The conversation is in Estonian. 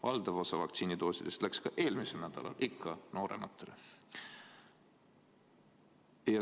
Valdav osa vaktsiinidoosidest läks ka eelmisel nädalal ikka noorematele.